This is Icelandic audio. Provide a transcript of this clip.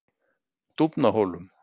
Dúfnahólum